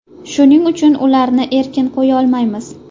Shuning uchun, ularni erkin qo‘yolmaymiz.